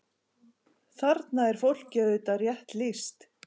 Þarna er fólki auðvitað rétt lýst.